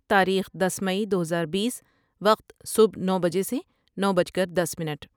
تاریخ دس مئی دو ہزار بیس وقت صبح نو بجے سے نو بجے دس منٹ